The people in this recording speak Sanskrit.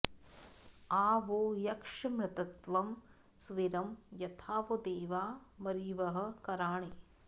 आ वो यक्ष्यमृतत्वं सुवीरं यथा वो देवा वरिवः कराणि